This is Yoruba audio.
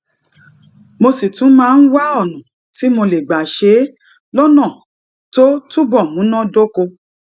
mo sì tún máa ń wá ònà tí mo lè gbà ṣe é lónà tó túbò múná dóko